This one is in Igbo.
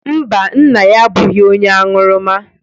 Mba, nna ya abụghị onye aṅụrụma.